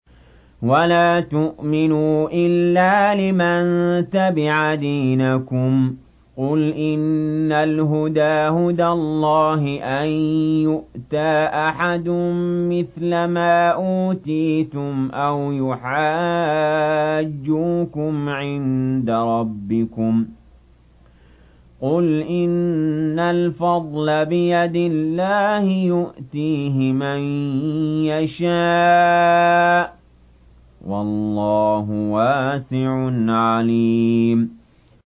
وَلَا تُؤْمِنُوا إِلَّا لِمَن تَبِعَ دِينَكُمْ قُلْ إِنَّ الْهُدَىٰ هُدَى اللَّهِ أَن يُؤْتَىٰ أَحَدٌ مِّثْلَ مَا أُوتِيتُمْ أَوْ يُحَاجُّوكُمْ عِندَ رَبِّكُمْ ۗ قُلْ إِنَّ الْفَضْلَ بِيَدِ اللَّهِ يُؤْتِيهِ مَن يَشَاءُ ۗ وَاللَّهُ وَاسِعٌ عَلِيمٌ